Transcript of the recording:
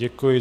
Děkuji.